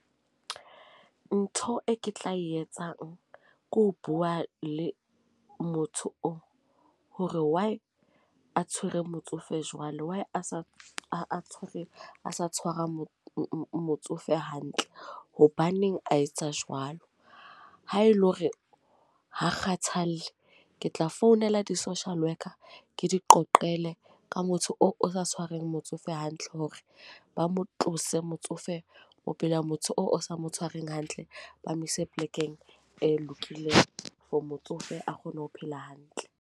Ntho e ke tla e etsang ke ho bua le motho oo hore why a tshwere motsofe jwalo. Why a sa tshwere a sa tshwara motsofe hantle. Hobaneng a etsa jwalo? Haele hore ha kgathalle ke tla founela di-social worker ke di qoqele ka motho oo o sa tshwareng motsofe hantle. Hore ba mo tlose motsofe, o phela motho oo o sa mo tshwareng hantle. Ba mo ise polekeng e lokileng for motsofe a kgone ho phela hantle.